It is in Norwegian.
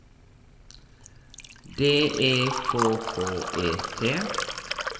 D E K K E T